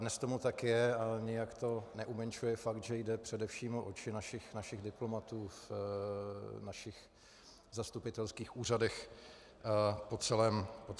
Dnes tomu tak je a nijak to neumenšuje fakt, že jde především o oči našich diplomatů na našich zastupitelských úřadech po celém světě.